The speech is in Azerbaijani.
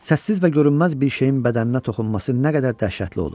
Səssiz və görünməz bir şeyin bədəninə toxunması nə qədər dəhşətli olur?